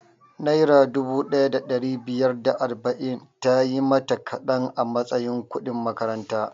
Naira dubu ɗaya da ɗari biyar da arba'in tayi mata kaɗan a matsayin kudin makaranta